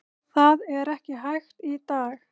Það er ekki hægt í dag.